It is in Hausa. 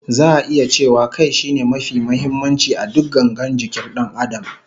Za'a iya cewa Kai shine mafi muhimmanci a duk gangar jikin Dan Adam